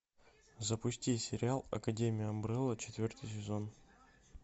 запусти сериал академия амбрелла четвертый сезон